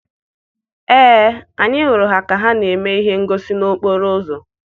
Ee, anyị hụrụ ka ha na-eme ihe ngosi n'okporo ụzọ.